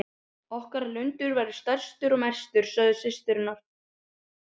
Okkar lundur verður stærstur og mestur, sögðu systurnar.